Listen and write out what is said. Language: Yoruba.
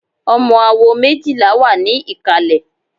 Ọmọ awo méjìlá wà ní ìkàlẹ̀.